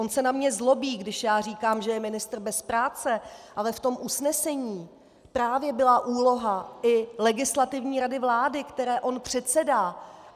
On se na mě zlobí, když já říkám, že je ministr bez práce, ale v tom usnesení právě byla úloha i Legislativní rady vlády, které on předsedá.